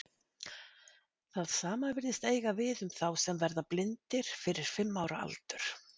Það sama virðist eiga við um þá sem verða blindir fyrir fimm ára aldur.